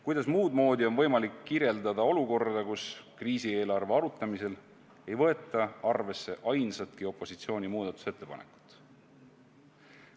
Kuidas muudmoodi on võimalik kirjeldada olukorda, kus kriisieelarve arutamisel ei võeta arvesse ainsatki opositsiooni muudatusettepanekut?